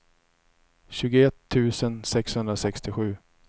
tjugoett tusen sexhundrasextiosju